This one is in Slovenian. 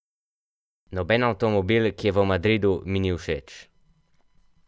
Noben avtomobil, ki je v Madridu, mi ni všeč.